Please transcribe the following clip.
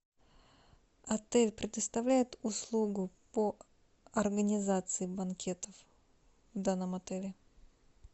отель предоставляет услугу по организации банкетов в данном отеле